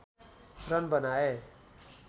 run बनाए